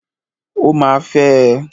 Ó ma fẹ́ ẹ.